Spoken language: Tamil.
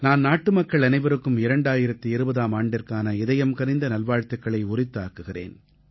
நான் நாட்டுமக்கள் அனைவருக்கும் 2020ஆம் ஆண்டிற்கான இதயம்கனிந்த நல்வாழ்த்துக்களை உரித்தாக்குகிறேன்